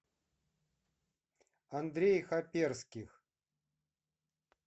андрей хаперских